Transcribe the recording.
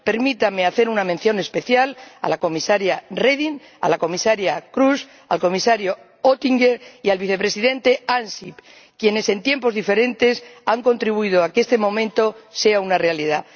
Permítanme hacer una mención especial a la comisaria Reding, a la comisaria Kroes, al comisario Oettinger y al vicepresidente Ansip, quienes en tiempos diferentes, han contribuido a que este momento sea una realidad.